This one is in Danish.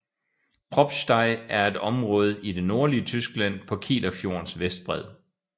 Probstei er et område i det nordlige Tyskland på Kielerfjordens vestbred